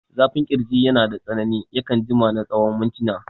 Zafin ƙirji yanada tsanani, yakan jima na tsawon mintina.